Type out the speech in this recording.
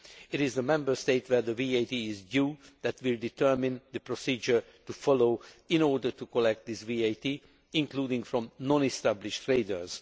It is the Member State where that VAT is due that will determine the procedure to be followed in order to collect this VAT, including from non established traders.